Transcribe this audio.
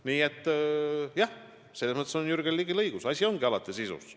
Nii et jah, selles mõttes on Jürgen Ligil õigus, asi ongi alati sisus.